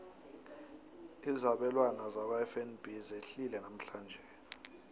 izabelwana zakwafnb zehlile namhlanje